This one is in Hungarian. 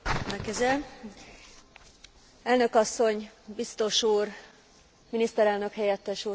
Elnök asszony, biztos úr, miniszterelnök helyettes úr, tisztelt képviselő hölgyek és urak!